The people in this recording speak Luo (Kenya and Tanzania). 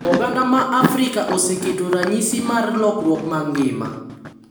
Oganda ma Afrika oseketo ranyisi mar lokruok mag ngima,